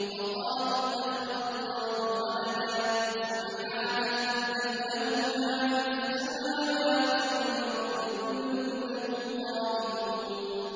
وَقَالُوا اتَّخَذَ اللَّهُ وَلَدًا ۗ سُبْحَانَهُ ۖ بَل لَّهُ مَا فِي السَّمَاوَاتِ وَالْأَرْضِ ۖ كُلٌّ لَّهُ قَانِتُونَ